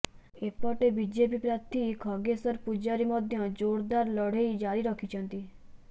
ଏପଟେ ବିଜେପି ପ୍ରାର୍ଥୀ ଖଗେଶ୍ବର ପୂଜାରୀ ମଧ୍ୟ ଜୋରଦାର ଲଢେଇ ଜାରି ରଖିଛନ୍ତି